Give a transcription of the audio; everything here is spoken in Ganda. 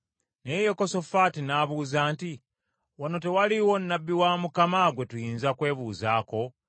Naye Yekosafaati n’abuuza nti, “Wano tewaliwo nnabbi wa Mukama gwe tuyinza kwebuuzaako?”